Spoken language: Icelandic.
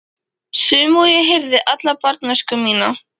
Sömu og ég heyrði alla barnæskuna mína.